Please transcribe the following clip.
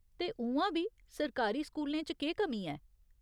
ते उ'आं बी सरकारी स्कूलें च केह् कमी ऐ ?